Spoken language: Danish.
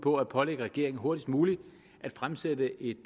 på at pålægge regeringen hurtigst muligt at fremsætte et